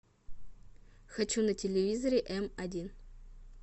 хочу на телевизоре м один